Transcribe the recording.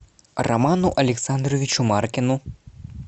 роману александровичу маркину